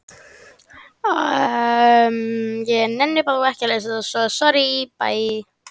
Ásgeir Erlendsson: Og hvað með framhaldið, hvenær er næsti fundur boðaður í deilunni?